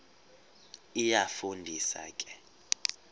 iyafu ndisa ke